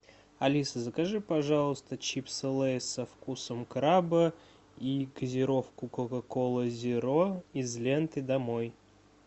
алиса закажи пожалуйста чипсы лейс со вкусом краба и газировку кока кола зеро из ленты домой